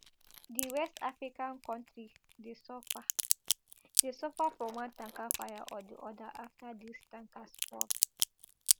di west african kontri dey suffer dey suffer from one tanker fire or di oda afta dis tankers fall